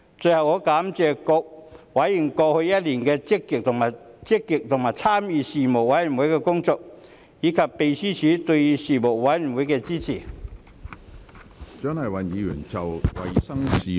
最後，我感謝各委員過去一年積極參與事務委員會的工作，以及秘書處對事務委員會的支援。